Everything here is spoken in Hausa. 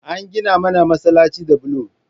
An gina mana masalaci da bulo